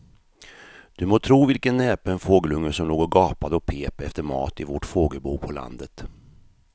Du må tro vilken näpen fågelunge som låg och gapade och pep efter mat i vårt fågelbo på landet.